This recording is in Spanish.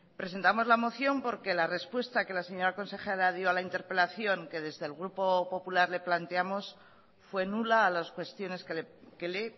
presentamos la moción porque la respuesta que la señora consejera dio a la interpelación que desde el grupo popular le planteamos fue nula a las cuestiones que le